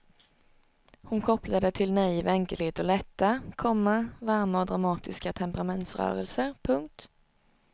Hon kopplar det till naiv enkelhet och lätta, komma varma och dramatiska temperamentsrörelser. punkt